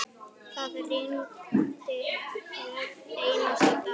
Það rigndi hvern einasta dag.